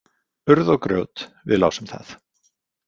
Urð og grjót, við lásum það.